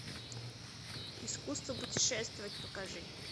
искусство путешествовать покажи